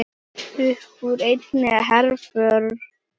Uppúr einni herför